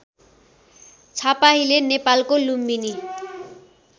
छापाहिले नेपालको लुम्बिनी